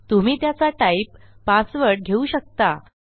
तुम्ही त्याचा type password घेऊ शकता